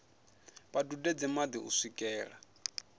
vha dudedze madi u swikela